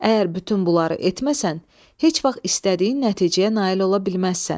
Əgər bütün bunları etməsən, heç vaxt istədiyin nəticəyə nail ola bilməzsən.